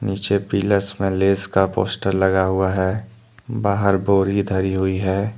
पीछे पिलर्स में लेस का पोस्टर लगा हुआ है बाहर बोरी धरी हुई है।